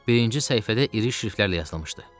Birinci səhifədə iri şriftlərlə yazılmışdı.